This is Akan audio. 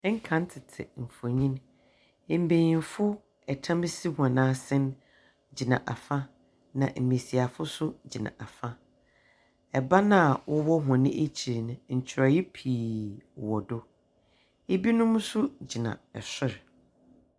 Ɛnkan tsetse mfonyin mbayinfo ɛtam si hɔn ase gyina afa na mbiasiafo nso gyina afa ɛban aa ɔwɔ wɔn ekyir no nkyerɛw pii wɔ do ebi nom nso gyina ɛsor.